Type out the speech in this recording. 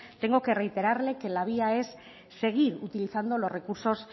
tengo que reiterarle que la vía es seguir utilizando los recursos